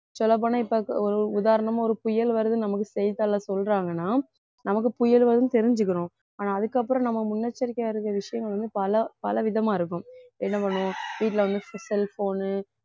சொல்லப்போனா இப்ப ஒரு உதாரணமா ஒரு புயல் வருது நமக்கு செய்திதாள்ல சொல்றாங்கன்னா நமக்கு புயல் வரும்னு தெரிஞ்சுக்கறோம் ஆனா அதுக்கப்புறம் நம்ம முன்னெச்சரிக்கையா இருக்க விஷயங்கள் வந்து பல பல விதமா இருக்கும் என்ன பண்ணுவோம் வீட்ல வந்து cell phone